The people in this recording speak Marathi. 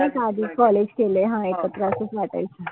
नाई का आधी college केलाय हा एकत्र असच वाटायच.